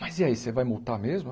Mas e aí, você vai multar mesmo?